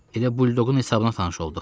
Elə buldoqun hesabına tanış olduq.